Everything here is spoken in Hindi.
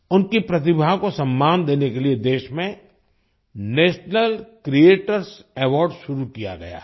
उनकी प्रतिभा को सम्मान देने के लिए देश में नेशनल क्रिएटर्स अवार्ड शुरू किया गया है